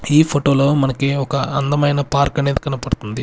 ఈ ఫోటోలో మనకి ఒక అందమైన పార్క్ అనేది కనపడుతుంది.